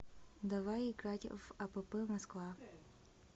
давай играть в апп москва